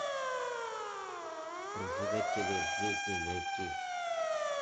прожигатели жизни найти